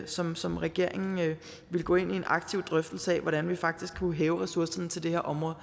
som som regeringen ville gå ind i en aktiv drøftelse af altså hvordan vi faktisk kunne hæve ressourcerne til det her område